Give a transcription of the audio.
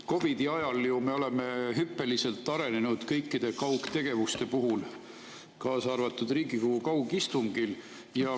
COVID‑i ajal ju arenesid hüppeliselt kõik kaugtegevused, kaasa arvatud Riigikogu kaugistungid.